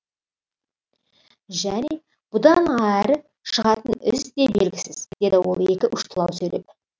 және бұдан әрі шығатын із де белгісіз деді ол екі ұштылау сөйлеп